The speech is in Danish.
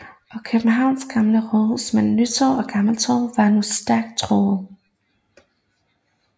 Og Københavns Gamle Rådhus mellem Nytorv og Gammeltorv var nu stærkt truet